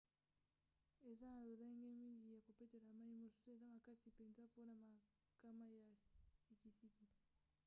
eza na lolenge mingi ya kopetola mai mosusu eza makasi mpenza mpona makama ya sikisiki